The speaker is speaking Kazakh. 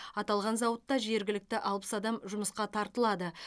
аталған зауытта жергілікті алпыс адам жұмысқа тартылады